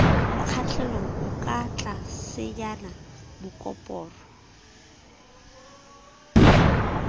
mokgahlelong o ka tlasenyana koporo